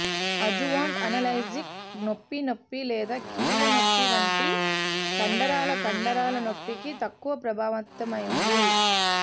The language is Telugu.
అజ్జువాంట్ అనాల్జెసిక్స్ నొప్పి నొప్పి లేదా కీళ్ళ నొప్పి వంటి కండరాల కండరాల నొప్పికి తక్కువ ప్రభావవంతమైనది